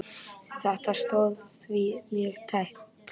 Þetta stóð því mjög tæpt.